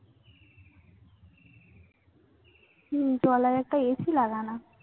হম দো তলায় একটা AC লাগান।।